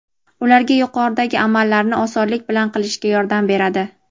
ularga yuqoridagi amallarni osonlik bilan qilishga yordam beradi.